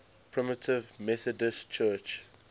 primitive methodist church